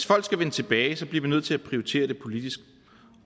folk skal vende tilbage bliver vi nødt til at prioritere det politisk